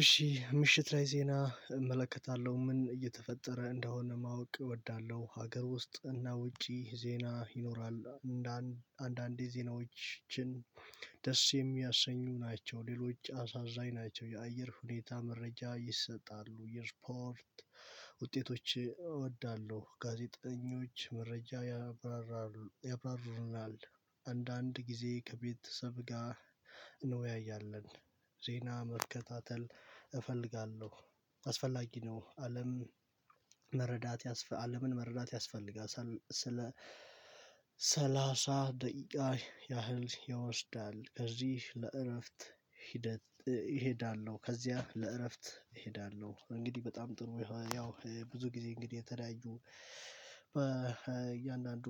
እሺ ምሽት ላይ ዜና እመለከታለሁ ምን እየተፈጠረ እንደሆነ ማወቅ እወዳለሁ ሀገር ውስጥ እና ውጪ ዜና ይኖራል። አንዳንዴ ዜናዎችን ደስ የሚያሰኙ ናቸው። ሌሎች አሳዛኝ ናቸው። የአየር ሁኔታ መረጃ ይሰጣሉ። የስፖርት ውጤቶች እወዳለሁ። ጋዜጠኞች መረጃ ያብራራሩ ያብራሩልናል አንዳንድ ጊዜ ከቤተሰብ ጋር እንወያያለን። ዜና መርከታተል እፈልጋለሁ። አስፈላጊ ነው። አለም አለምን መረዳት ያስፈልጋል። ሳል ስለ ሰላሳ ደቂቃ ያህል ይወስዳል። ከዚህ ለእረፍት ሂደት እሄዳለሁ። ከዚያ ለእረፍት እሄዳለሁ። እንግዲህ በጣም ጥሩ ያው ብዙ ጊዜ እንግዲህ የተለያዩ በእያንዳንዱ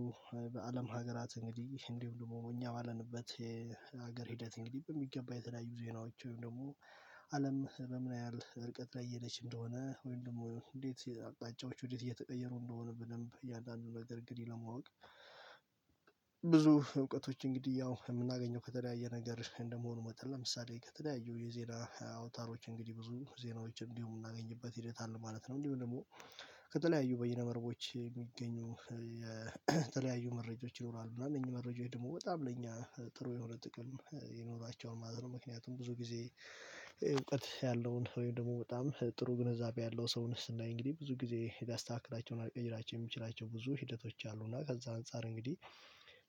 በአለም ሀገራት እንግዲህ እንዲሁም ደግሞ እኛ ባለንበት የሀገር ሂደት እንግዲህ በሚገባ የተለያዩ ዜናዎች ወይም ደግሞ አለም በምን ያህል ርቀት ላይ እየሄደች እንደሆነ ወይም ደግሞ እንዴት አቅጣጫዎች ወዴት እየተቀየሩ እንደሆነ በደንብ እያንዳንዱ ነገር እንግዲህ ለማወቅ። ብዙ እውቀቶች እንግዲህ ያው የምናገኘው ከተለያየ ነገር እንደመሆኑ መጠን ለምሳሌ ከተለያዩ የዜና አውታሮች እንግዲህ ብዙ ዜናዎችን እንዲሁ የምናገኝበት ሂደት አለ ማለት ነው። እንዲሁም ደግሞ ከተለያዩ በይነ መረቦች የሚገኙ የተለያዩ መረጃዎች ይኖራሉ እና እነዚህ መረጃዎች ደግሞ በጣም ለእኛ ጥሩ የሆነ ጥቅም ይኖራቸዋል ማለት ነው። ምክንያቱም ብዙ ጊዜ እውቀት ያለውን ወይም ደግሞ በጣም ጥሩ ግንዛቤ ያለው ሰውን ስናይ እንግዲህ ብዙ ጊዜ ሊያስተካክላቸው እና ሊቀይራቸውም የሚችላቸው ብዙ ሂደቶች አሉ። እና ከዛ አንፃር እንግዲህ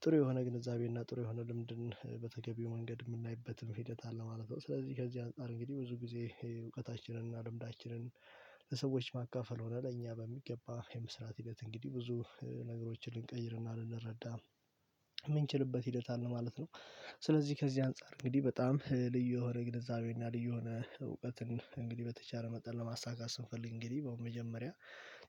ጥሩ የሆነ ግንዛቤ እና ጥሩ የሆነ ልምድን በተገቢው መንገድ የምናይበትም ሂደት አለ ማለት ነው። ስለዚህ ከዚህ አንፃር እንግዲህ ብዙ ጊዜ እውቀታችንን እና ልምዳችንን ለሰዎች ማካፈል ሆነ ለእኛ በሚገባ የመስራት ሂደት እንግዲህ ብዙ ነገሮችን ልንቀይርና ልንረዳ የምንችልበት ሂደት አለ ማለት ነው። ስለዚህ ከዚህ አንፃር እንግዲህ በጣም ልዩ የሆነ ግንዛቤና ልዩ የሆነ እውቀትን እንግዲህ በተቻለ መጠን ለማሳካት ስንፈልግ እንግዲህ በመጀመሪያ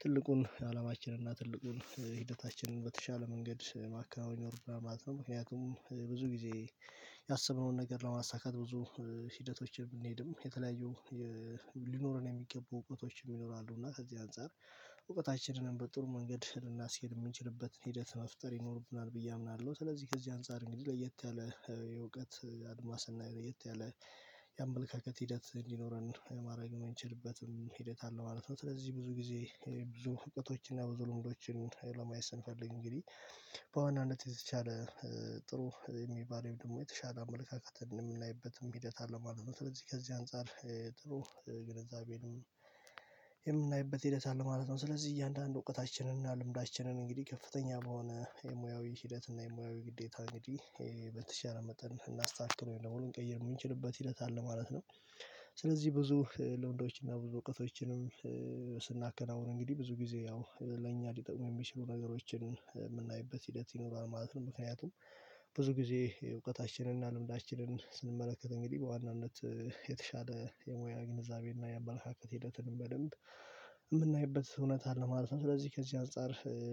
ትልቁን ዓላማችንና ትልቁን ሂደታችንን በተሻለ መንገድ ማከናወን ይኖርብናል ማለት ነው። ምክንያቱም ብዙ ጊዜ ያሰብነውን ነገር ለማሳካት ብዙ ሂደቶችን ብንሄድም የተለያዩ የ ሊኖረን የሚገቡ እውቀቶችም ይኖራሉ እና ከዚህ አንፃር እውቀታችንንም በጥሩ መንገድ ልናስሄድ የምንችልበትን ሂደት መፍጠር ይኖርብናል ብዬ አምናለሁ። ስለዚህ ከዚህ አንፃር እንግዲህ ለየት ያለ የእውቀት አድማስና ለየት ያለ የአመለካከት ሂደት እንዲኖረን ማድረግ የምንችልበትም ሂደት አለ ማለት ነው። ስለዚህ ብዙ ጊዜ ብዙ እውቀቶችን እና ብዙ ልምዶችን ለማየት ስንፈልግ እንግዲህ በዋናነት የተቻለ ጥሩ የሚባል ወይም ደግሞ የተሻለ አመለካከትን የምናይበትም ሂደት አለ ማለት ነው። ስለዚህ ከዚህ አንፃር ጥሩ ግንዛቤንም የምናይበት ሂደት አለ ማለት ነው። ስለዚህ እያንዳንዱ እውቀታችንን እና ልምዳችንን እንግዲህ ከፍተኛ በሆነ የሙያዊ ሂደት እና የሙያዊ ግዴታ እንግዲህ በተቻለ መጠን ልናስተካክል ወይም ደግሞ ልንቀይር የምንችልበት ሂደት አለ ማለት ነው። ስለዚህ ብዙ ልምዶች እና ብዙ እውቀቶችንም ስናከናውን እንግዲህ ብዙ ጊዜ ያው ለእኛ ሊጠቅሙ የሚችሉ ነገሮችን የምናይበት ሂደት ይኖራል ማለት ነው። ምክንያቱም ብዙ ጊዜ እውቀታችንን እና ልምዳችንን ስንመለከተው እንግዲህ በዋናነት የተሻለ የሙያ ግንዛቤ እና የአመለካከት ሂደትን በደንብ የምናይበት እውነት አለ ማለት ነው። ስለዚህ ከዚህ አንፃር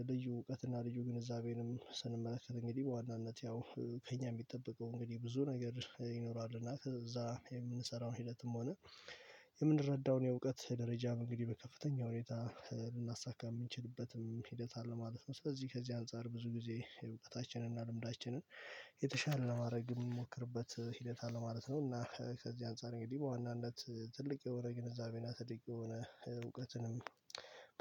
ልዩ እውቀትና ልዩ ግንዛቤንም ስንመለከት እንግዲህ በዋናነት ያው ከእኛ የሚጠበቀው እንግዲህ ብዙ ነገር ይኖራል። እና ከዛ የምንሰራው ሂደትም ሆነ የምንረዳውን የእውቀት ደረጃም እንግዲህ በከፍተኛ ሁኔታ ልናሳካ የምንችልበትም ሂደት አለ ማለት ነው። ስለዚህ ከዚህ አንፃር ብዙ ጊዜ እውቀታችን እና ልምዳችንን የተሻለ ለማድረግ የምንሞክርበት ሂደት አለ ማለት ነው። እና ከዚህ አንፃር እንግዲህ በዋናነት ትልቅ የሆነ ግንዛቤና ትልቅ የሆነ እውቀትንም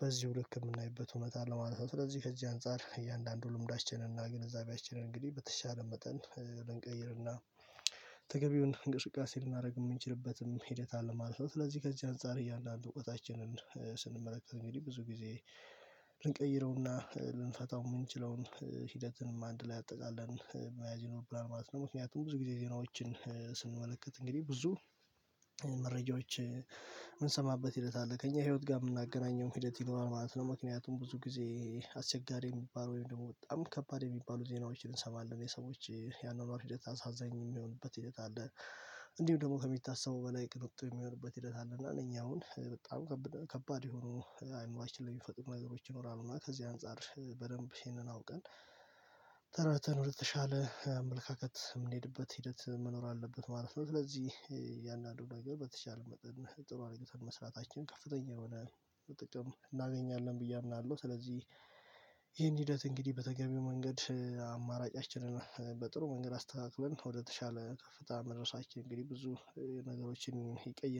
በዚሁ ልክ የምናይበት እውነት አለ ማለት ነው። ስለዚህ ከዚህ አንፃር እያንዳንዱ ልምዳችን እና ግንዛቤያችንን እንግዲህ በተቻለ መጠን ልንቀይር እና ተገቢውን እንቅስቃሴ ልናደርግ የምንችልበትም ሂደት አለ ማለት ነው። ስለዚህ ከዚህ አንፃር እያንዳንዱ እውቀታችንን ስንመለከት እንግዲህ ብዙ ጊዜ ልንቀይረውና ልንፈታው የምንችለውን ሂደትንም አንድ ላይ አጠቃለን መያዝ ይኖርብናል ማለት ነው። ምክንያቱም ብዙ ጊዜ ዜናዎችን ስንመለከት እንግዲህ ብዙ መረጃዎች የምንሰማበት ሂደት አለ ከእኛ ህይወት ጋር የምናገናኘው ሂደት ይኖራል ማለት ነው። ምክንያቱም ብዙ ጊዜ አስቸጋሪ የሚባለው ወይም ደግሞ በጣም ከባድ የሚባሉ ዜናዎችን እንሰማለን የሰዎች የአኗኗር ሂደት አሳዛኝ የሚሆንበት ሂደት አለ። እንዲሁም ደግሞ ከሚታሰበው በላይ ቅንጡ የሚሆንበት ሂደት አለ እና እኛ አሁን በጣም ከብ ከባድ የሆኑ አእምሯችን ላይ የሚፈጠሩ ነገሮች ይኖራሉ እና ከዚህ አንፃር በደንብ ይህንን አውቀን ተረድተን ወደተሻለ አመለካከት የምንሄድበት ሂደት መኖር አለበት ማለት ነው። ስለዚህ እያንዳንዱ ነገር በተቻለ መጠን ጥሩ አድርገን መስራታችን ከፍተኛ የሆነ ጥቅም እናገኛለን ብዬ አምናለሁ። ስለዚህ ይህን ሂደት እንግዲህ በተገቢው መንገድ አማራጫችንን በጥሩ መንገድ አስተካክለን ወደተሻለ ከፍታ መድረሳችን እንግዲህ ብዙ ነገሮችን ይቀይራል